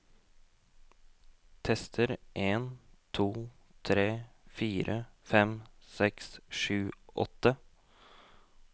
Tester en to tre fire fem seks sju åtte